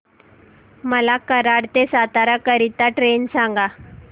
मला कराड ते सातारा करीता ट्रेन सांगा